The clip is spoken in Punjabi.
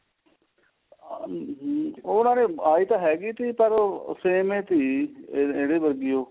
ਅਮ ਉਹਨਾ ਨੇ ਆਈ ਤਾਂ ਹੈਗੀ ਤੀ ਪਰ same ਏ ਤੀ ਇਹਦੇ ਵਰਗੀ ਓ